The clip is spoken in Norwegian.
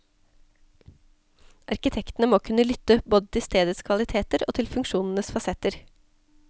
Arkitektene må kunne lytte, både til stedets kvaliteter og til funksjonenes fasetter.